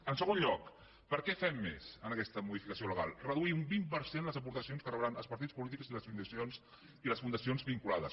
en segon lloc per a què més fem aquesta modificació legal reduir un vint per cent les aportacions que rebran els partits polítics i les fundacions vinculades